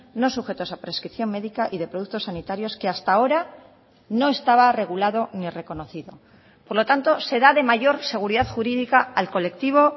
no sujetos a prescripción médica y de productos sanitarios que hasta ahora no estaba regulado ni reconocido por lo tanto se da de mayor seguridad jurídica al colectivo